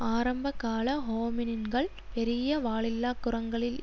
ஆரம்பகால ஹோமினின்கள் பெரிய வாலில்லா குரங்களில்